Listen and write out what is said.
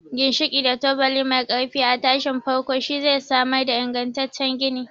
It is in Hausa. Ginshiki da tubali mai ƙarfi a tashin farko shi zai samar da ingantaccen gini.